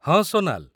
ହଁ, ସୋନାଲ